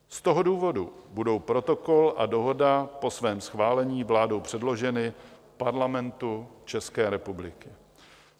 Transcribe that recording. Z toho důvodu budou Protokol a Dohoda po svém schválení vládou předloženy Parlamentu České republiky.